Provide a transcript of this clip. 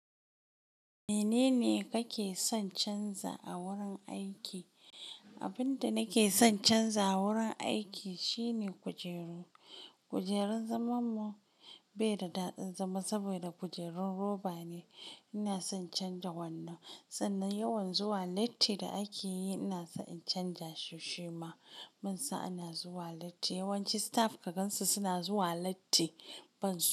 Menene kake son canza a wurin aiki? Abin da nake son canza a wurin aiki shine kujeru. Kujerun zamanmu bai da daɗin zama saboda kujerun roba ne. Ina son in canja wannan. Sannan yawan zuwa latti da ake yi, ina so in canja shi shi ma. Munsa ana zuwa latti. Yawanci staff ka gansu suna zuwa latti ban zuwa.